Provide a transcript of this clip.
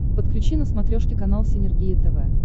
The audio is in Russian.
подключи на смотрешке канал синергия тв